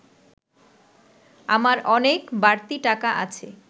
আমার অনেক বাড়তি টাকা আছে